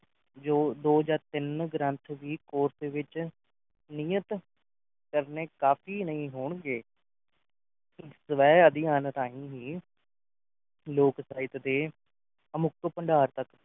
ਜੋ ਦੋ ਜਾਂ ਤਿੰਨ ਗ੍ਰੰਥ ਵੀ course ਵਿਚ ਨੀਅਤ ਕਰਨੇ ਕਾਫ਼ੀ ਨਹੀਂ ਹੋਣਗੇ ਸ਼ਿਵਾਐ ਆਦਿ ਹਾਂਨਤਹੀਂ ਲੋਕ ਸਾਹਿਤ ਦੇ ਅਮੁੱਕਤ ਭੰਡਾਰ ਤਕ